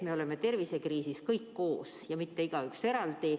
Me oleme tervisekriisis kõik koos, mitte igaüks eraldi.